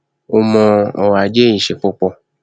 ó mọ ọrọ ajé í ṣe púpọ